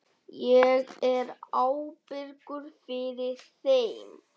Ég er ábyrgur fyrir þeim.